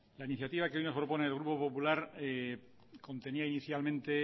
la iniciativa que hoy propone el grupo popular contenía inicialmente